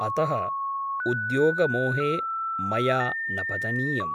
अतः उद्योगमोहे मया न पतनीयम् ।